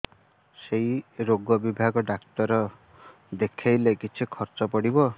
ସେଇ ରୋଗ ବିଭାଗ ଡ଼ାକ୍ତର ଦେଖେଇଲେ କେତେ ଖର୍ଚ୍ଚ ପଡିବ